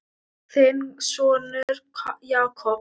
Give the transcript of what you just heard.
Þinn sonur Jakob.